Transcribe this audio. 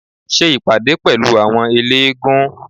Ṣe ìpàdé pẹ̀lú àwọn eléégún